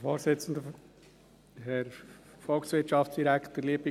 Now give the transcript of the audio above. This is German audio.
Kommissionssprecher der FiKo.